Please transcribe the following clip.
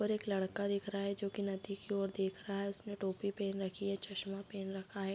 और एक लड़का दिख रहा है जो की नदी की ओर देख रहा है उसने टोपी पहन रखी है चश्मा पहन रखा है |